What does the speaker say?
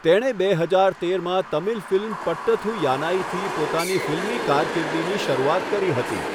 તેણે બે હજાર તેરમાં તમિલ ફિલ્મ પટ્ટથુ યાનાઈથી પોતાની ફિલ્મી કારકિર્દીની શરૂઆત કરી હતી.